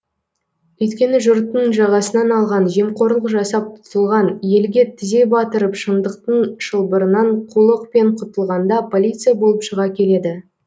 өйткені жұрттың жағасынан алған жемқорлық жасап тұтылған елге тізе батырып шындықтың шылбырынан қулықпен құтылғанда полиция болып шыға келеді